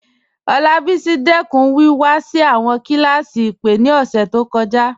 Olabisi dẹkun wíwá sí awọn kílásí ìpè ni ọṣẹ to kọja.